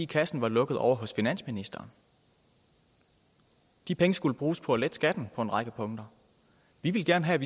kassen var lukket ovre hos finansministeren de penge skulle bruges på at lette skatten på en række punkter vi ville gerne have